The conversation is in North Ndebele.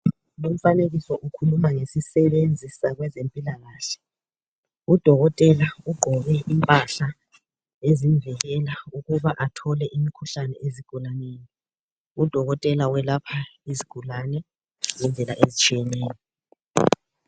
lomfanekiso ukhuluma ngesisebenzi sezempilakahle u dokotela ugqoke impahla ezimvikela ukuba athole imkhuhlane ezigulaneni u dokotela uyelapha izigulane ngendlela ezitshiyeneyo